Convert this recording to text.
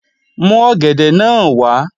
Mú ọ̀gẹ̀dẹ̀ náà wá!